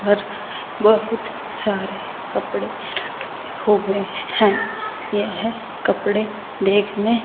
और बहुत सारे कपड़े रखे हुए हैं यह कपड़े देखने--